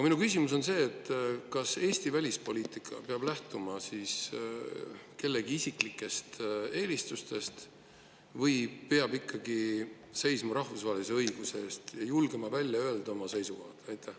Minu küsimus on see: kas Eesti välispoliitika peab lähtuma kellegi isiklikest eelistustest või peab ikkagi seisma rahvusvahelise õiguse eest ja julgema välja öelda oma seisukohti?